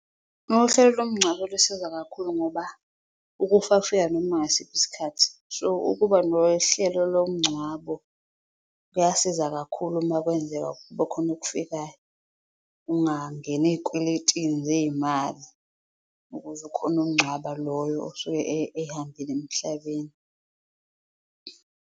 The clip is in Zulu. Uhlelo lomngcwabo lusiza kakhulu ngoba ukufa kufika noma ngasiphi isikhathi so, ukuba nohlelo lomngcwabo kuyasiza kakhulu makwenzeka kubakhona okufikayo. Ungangeni eyikweletini zeyimali ukuze ukhone ukungcwaba loyo osuke ehambile emhlabeni.